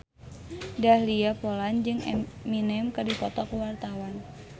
Dahlia Poland jeung Eminem keur dipoto ku wartawan